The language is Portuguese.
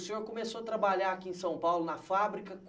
O senhor começou a trabalhar aqui em São Paulo, na fábrica